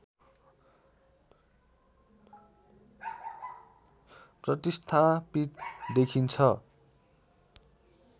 प्रतिस्थापित देखिन्छ